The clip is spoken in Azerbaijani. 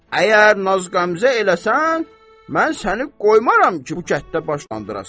Əgər naz qəmzə eləsən, mən səni qoymaram ki, bu kəntdə başlandırasan.